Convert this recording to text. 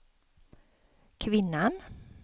kvinnan